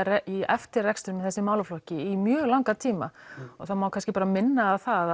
í eftirrekstur í þessum málaflokki í mjög langan tíma og það má kannski minna á það